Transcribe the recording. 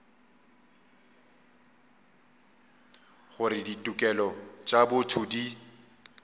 gore ditokelo tša botho di